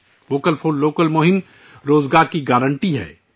vocal for local مہم روزگار کی ضمانت ہے